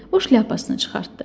O şlyapasını çıxartdı.